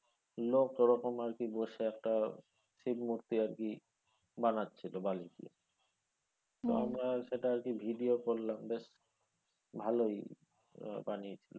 আরকি বসে একটা শিভ মুর্তি আরকি বানাচ্ছিল বালি দিয়ে তো আমরা সেটা আরকি video করলাম বেশ ভালোই বানিয়েছিলো।